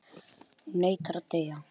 Hún neitar að deyja.